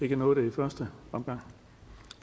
ikke nåede det i første omgang